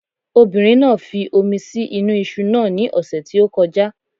Obìnrin náà fi omi sí inú iṣu náà ní ọ̀sẹ̀ tí ó kọjá